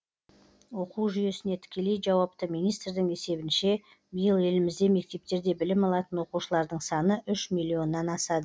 оқу жүйесіне тікелей жауапты министрдің есебінше биыл елімізде мектептерде білім алатын оқушылардың саны үш миллионнан асады